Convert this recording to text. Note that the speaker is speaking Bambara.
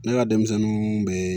Ne ka denmisɛnninw bɛ